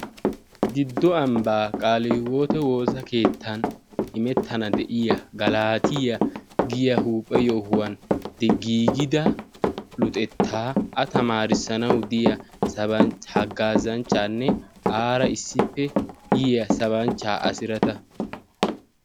giddo ambbaa qaalii hiwoote woosa keettan imettana de'iya galaatiya giya huuphe yohuwan gigida luxettaa a tamaarissanawu diya haggaazanchchaanne aara issippe yiya sabanchchaa asirata